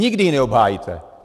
Nikdy ji neobhájíte.